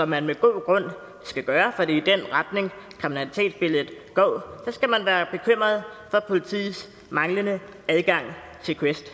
man med god grund skal gøre for det i den retning kriminalitetsbilledet går så skal man være bekymret for politiets manglende adgang til quest